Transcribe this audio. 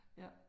Ja